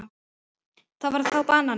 Það var þá banani.